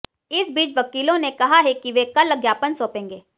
इस बीच वकीलों ने कहा है कि वे कल ज्ञापन सौंपेंगे